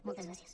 moltes gràcies